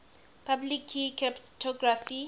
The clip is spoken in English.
public key cryptography